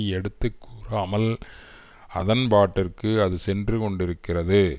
எடுத்து கூறாமல் அதன்பாட்டிற்கு அது சென்று கொண்டிருக்கிறது